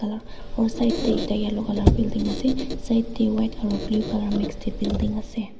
aru side te ekta yellow colour building ase side te white aru blue building ase.